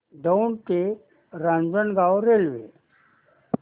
दौंड ते रांजणगाव रेल्वे